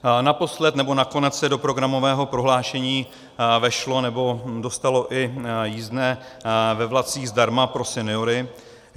Naposled nebo nakonec se do programového prohlášení vešlo nebo dostalo i jízdné ve vlacích zdarma pro seniory.